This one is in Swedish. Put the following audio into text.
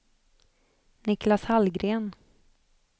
Niklas Hallgren